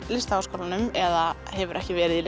Listaháskólanum eða hefur ekki verið í